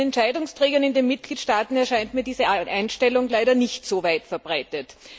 Bei den Entscheidungsträgern in den Mitgliedstaaten erscheint mir diese Einstellung leider nicht so weit verbreitet.